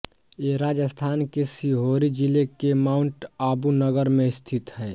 ये राजस्थान के सिरोही जिले के माउंट आबू नगर में स्थित हैं